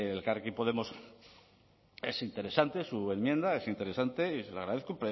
elkarrekin podemos es interesante su enmienda es interesante y se lo agradezco